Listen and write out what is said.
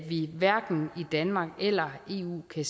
vi hverken i danmark eller i eu kan